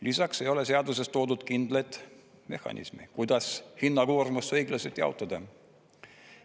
Lisaks ei ole seaduses toodud kindlat mehhanismi, kuidas hinnakoormust õiglaselt jaotada.